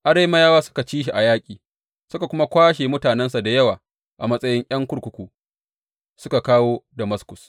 Arameyawa suka ci shi a yaƙi, suka kuma kwashe mutanensa da yawa a matsayin ’yan kurkuku, suka kawo Damaskus.